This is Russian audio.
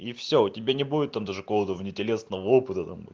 и всё у тебя не будет он даже голову не телесного опыта там